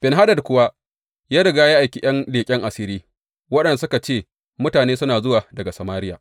Ben Hadad kuwa ya riga ya aiki ’yan leƙen asiri, waɗanda suka ce, Mutane suna zuwa daga Samariya.